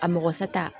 A mɔgɔsa ta